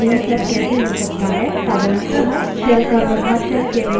साधारणतः shell का व्यवहार shell के variables से निर्धारित होता है